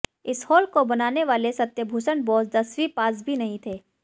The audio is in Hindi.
इस हॉल को बनाने वाले सत्यभूषण बोस दसवीं पास भी नहीं थे